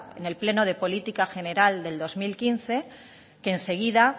en el pleno de política general de dos mil quince que enseguida